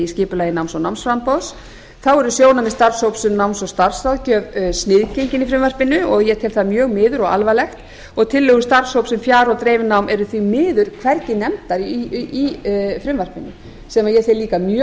skipulagi náms og námsframboðs þá eru sjónarmið starfshóps um náms og starfsráðgjöf sniðgengin í frumvarpinu og ég tel það mjög miður og alvarlegt og tillögur starfshóps um fjar og dreifinám eru því miður hvergi nefndar í frumvarpinu sem ég tel líka mjög